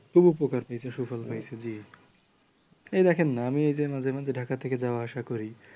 খুব উপকার হয়েছে সুফল হয়েছে জি এই দেখেন না আমি এইযে মাঝে মাঝে ঢাকা থেকে যাওয়া আসা করি ।